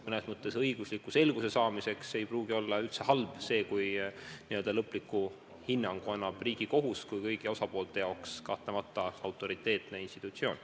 Mõnes mõttes õigusliku selguse saamiseks ei pruugi aga üldse halb olla, kui lõpliku hinnangu annab Riigikohus kui kõigi osapoolte jaoks kahtlemata autoriteetne institutsioon.